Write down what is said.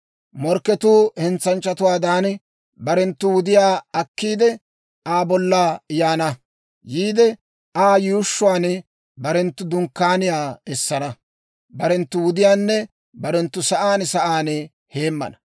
Morkketuu hentsanchchatuwaadan barenttu wudiyaa akkiide, Aa bolla yaana. Aa yuushshuwaan barenttu dunkkaaniyaa essana; barenttu wudiyaanne barenttu sa'aan sa'aan heemmana.